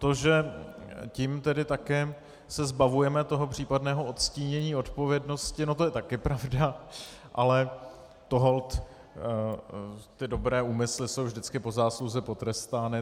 To, že tím tedy také se zbavujeme toho případného odstínění odpovědnosti, no to je taky pravda, ale holt dobré úmysly jsou vždycky po zásluze potrestány.